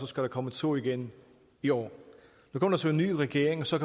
skal komme to igen i år nu kom der så en ny regering og så